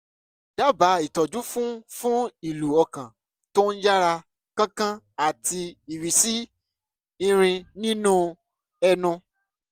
dábàá ìtọ́jú fún fún ìlù ọkàn tó ń yára kánkán àti ìrísí irin nínú ẹnu